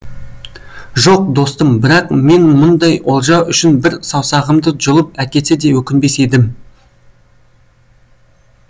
жоқ достым бірақ мен мұндай олжа үшін бір саусағымды жұлып әкетсе де өкінбес едім